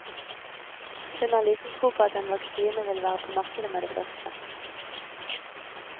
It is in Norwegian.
Hun har liten tro på at en vaksine vil være på markedet med det første.